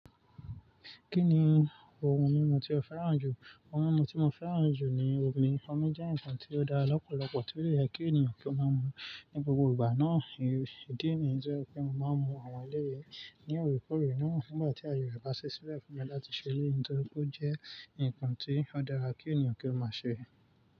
Kí ni ohun mímu tí o fẹ́ràn jù? Ohun mímu tí mo fẹ́ràn jù ni omi. Omi jẹ́ nǹkan tí ó dára lọ́pọ̀lọpọ̀ tí ó de ye kí ènìyàn kí ó máa mú ní gbogbo ìgbà náà. Ìdí ni to je pé mo máa ń mú àwọn eléyi ní òrèkóòrè náà nígbà tí aye re bá ṣile fún mi láti ṣe eleyi nítorí pé ó jẹ́ nǹkan tí ó dára kí ènìyàn kí ó máa ṣe.